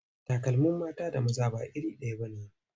Takalmin mata da na maza ba iri ɗaya ba ne.